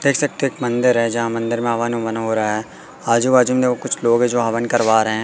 देख सकते हैं मंदिर है जहां मंदिर में हवन अवन हो रहा है आजू बाजू में देखो कुछ लोग हैं जो हवन करवा रहे--